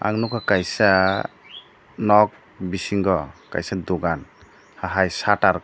ang nugkha kaisa nok bisingo kaisa dugan hai satter.